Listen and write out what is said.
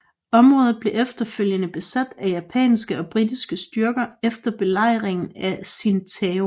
Området blev efterfølgende besat af japanske og britiske styrker efter Belejringen af Tsingtao